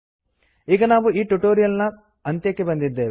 ಈಗ ನಾವು ಈ ಟ್ಯುಟೋರಿಯಲ್ ನ ಅಂತ್ಯಕ್ಕೆ ಬಂದಿದ್ದೇವೆ